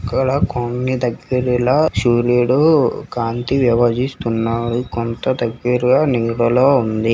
ఇక్కడ దగ్గరలో సూరీడు కాంతి కొంత దగ్గరగా నీడలో ఉంది.